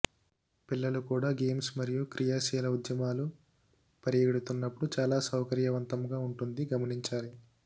పిల్లలు కూడా గేమ్స్ మరియు క్రియాశీల ఉద్యమాలు పరిగెడుతున్నప్పుడు చాలా సౌకర్యవంతంగా ఉంటుంది గమనించాలి